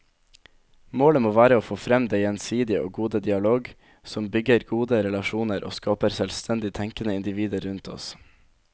Målet må være å få frem den gjensidige og gode dialog, som bygger gode relasjoner og skaper selvstendig tenkende individer rundt oss.